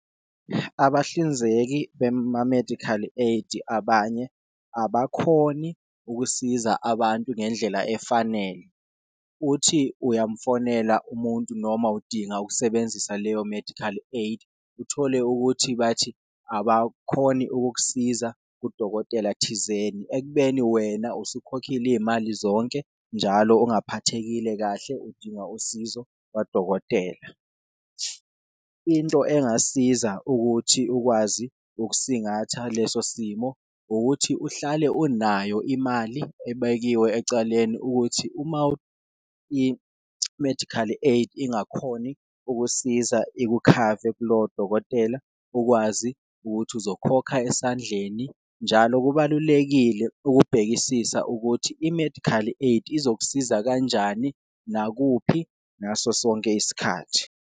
Abahlinzeki bema-medical aid abanye abakhoni ukusiza abantu ngendlela efanele, uthi uyamfonela umuntu noma udinga ukusebenzisa leyo medical aid, uthole ukuthi bathi abakhoni ukukusiza kudokotela thizeni ekubeni wena usukhokhile iyimali zonke, njalo ongaphathekile kahle udinga usizo lwadokotela. Into engasiza ukuthi ukwazi ukusingatha leso simo ukuthi uhlale unayo imali ebekiwe ecaleni, ukuthi uma i-medical aid ingakhoni ukusiza ikukhave kulowo dokotela ukwazi ukuthi uzokhokha esandleni. Njalo kubalulekile ukubhekisisa ukuthi i-medical aid izokusiza kanjani, nakuphi ngaso sonke isikhathi.